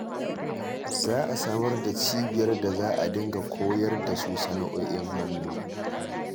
Za a samar da cibiyar da za a dinga koyar da su sana'o'in hannu.